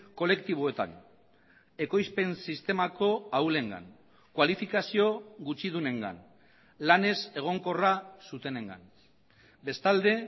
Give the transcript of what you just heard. kolektiboetan ekoizpen sistemako ahulengan kualifikazio gutxidunengan lan ez egonkorra zutenengan bestalde